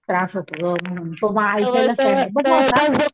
त्रास होतो ना खूप म्हणून सो म,